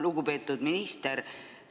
Lugupeetud minister!